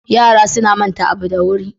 Yara suna manta abu da wuri.